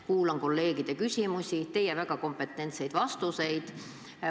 Kuulan kolleegide küsimusi ja teie väga kompetentseid vastuseid.